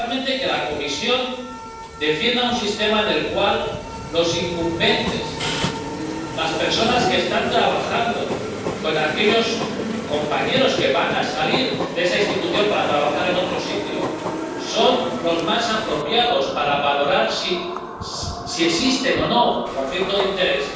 Que la Comisión defienda un sistema en el cual los incumbentes —las personas que están trabajando con aquellos compañeros que van a salir de esa institución para trabajar en otro sitio— son los más apropiados para valorar si existe o no conflicto de interés,